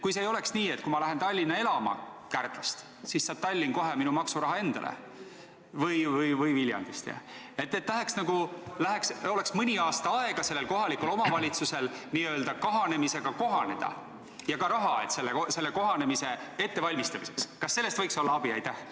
Kui ei oleks nii, et kui ma lähen Tallinna elama Kärdlast või Viljandist, siis saab Tallinn kohe minu maksuraha endale, vaid mõni aasta oleks sellel kohalikul omavalitsusel aega n-ö kahanemisega kohaneda ja ka raha selle kohanemise ettevalmistamiseks, kas sellest võiks olla abi?